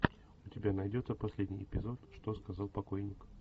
у тебя найдется последний эпизод что сказал покойник